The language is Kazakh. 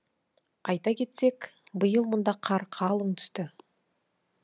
айта кетсек биыл мұнда қар қалың түсті